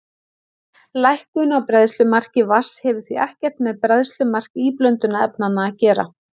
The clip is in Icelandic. Lækkun á bræðslumarki vatns hefur því ekkert með bræðslumark íblöndunarefnanna að gera.